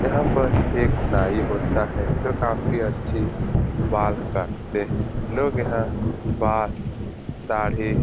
यहाँ पर एक नाई होता है जो काफी अच्छी बाल काटते हैं लोग यहाँ बात दाढ़ी --